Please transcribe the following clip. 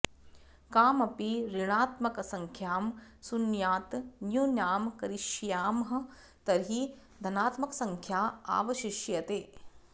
कामपि ऋणात्मकसङ्ख्यां शून्यात् न्यूनां करिष्यामः तर्हि धनात्मकसङ्ख्या आवशिष्यते